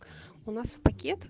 у нас в пакет